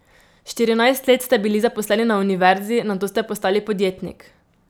Štirinajst let ste bili zaposleni na univerzi, nato ste postali podjetnik.